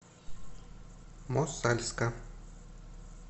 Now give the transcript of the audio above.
мосальска